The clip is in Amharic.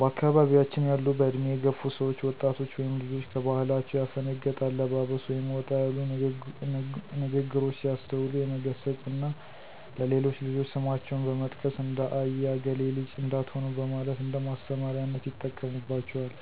በአካባያችን ያሉ በእድሜ የገፉ ሰዎች ወጣቶች ወይም ልጆች ከባህላቸው ያፈነገጠ አለባበስ ወይም ወጣ ያሉ ንግሮች ሲያስተውሉ የመገሰፅ እና ለሌሎች ልጆች ስማቸውን በመጥቀስ ''እንደ አያ እገሌ ልጅ '' እንዳትሆኑ በማለት እንደማስተማሪያነት ይጠቀሙባቸዋል።